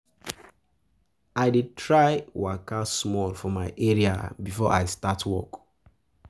I dey try waka small for my area before I start work.